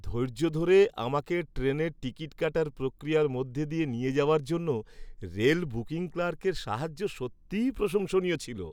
ধৈর্য ধরে আমাকে ট্রেনের টিকিট কাটার প্রক্রিয়ার মধ্যে দিয়ে নিয়ে যাওয়ার জন্য রেল বুকিং ক্লার্কের সাহায্য সত্যিই প্রশংসনীয় ছিল।